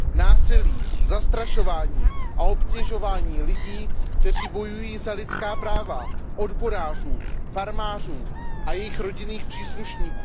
násilí, zastrašování a obtěžování lidí, kteří bojují za lidská práva, odborářů, farmářů a jejich rodinných příslušníků.